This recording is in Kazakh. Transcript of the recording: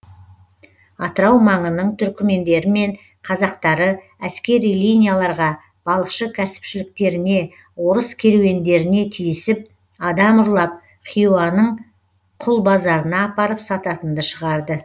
атырау маңының түрікмендері мен қазақтары әскери линияларға балықшы кәсіпшіліктеріне орыс керуендеріне тиісіп адам ұрлап хиуаның құл базарына апарып сататынды шығарды